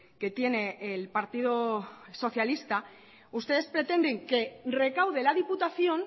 que tiene el partido socialista ustedes pretenden que recaude la diputación